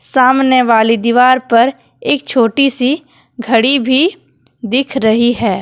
सामने वाली दीवार पर एक छोटी सी घड़ी भी दिख रही है।